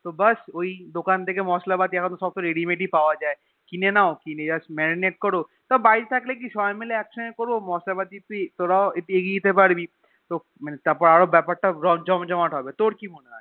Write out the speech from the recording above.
তো বাস ওই দোকান থেকে মসলা পাতি এখন তো সব Ready made এ পাওয়া যায় কিনে নাও কিনে Just marinade করো তও বাড়িতে থাকলে সবাই মাইল একসাথে করবো মসলা পাতি তোরাও একটু এগিয়ে দিতে পারবি তারপর তো বেপার তা যায় জম জমাট হবে তোর কি মনে হয়